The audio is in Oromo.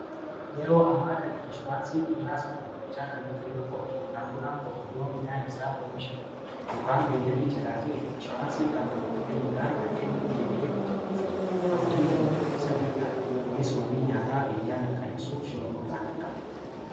yeroo ammaa kan inshuraansiin qonnaas ba ballachaa kan dhufe yoo ta'u qonnaan bulaan tokko yoo midhaan isaa oomisha dha yookaan beelanni jalaa du'e inshuraansiin kanfaltii kennuudhaan akka hinni deebi'ee qootatufi of dandamatu isa gargaara kunis wabii nyaataa biyyaa mirkaneesuuf shooroo olaanaa qaba